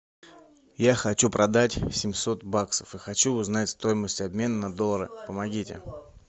я хочу продать семьсот баксов и хочу узнать стоимость обмена на доллары помогите